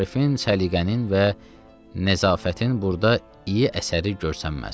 Maarifın, səliqənin və nəzafətin burda iyi əsəri görsənməz.